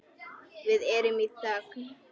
Við erum í þögn.